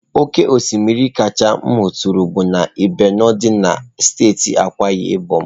Oke osimiri kacha m hụtụrụla bụ na ibeno dị na steeti Akwa Ibom.